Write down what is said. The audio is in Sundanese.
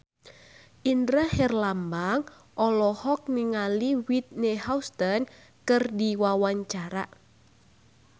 Indra Herlambang olohok ningali Whitney Houston keur diwawancara